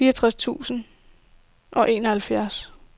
fireogtres tusind og enoghalvfjerds